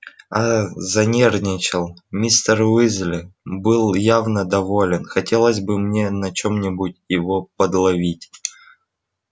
аа занервничал мистер уизли был явно доволен хотелось бы мне на чём-нибудь его подловить